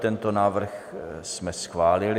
Tento návrh jsme schválili.